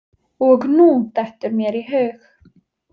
Og nú dettur mér í hug.